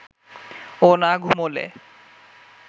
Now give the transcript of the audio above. ও না ঘুমোলে